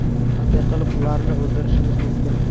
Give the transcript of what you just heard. Qanday qilib ularni o‘ldirishimiz mumkin?